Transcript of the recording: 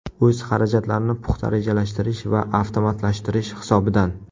O‘z xarajatlarini puxta rejalashtirish va avtomatlashtirish hisobidan.